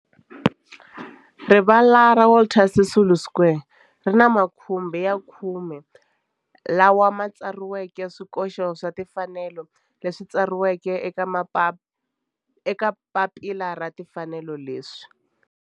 Rivala ra Walter Sisulu Square ri ni makhumbi ya khume lawa ma tsariweke swikoxo swa timfanelo leswi tsariweke eka papila ra timfanelo leswi.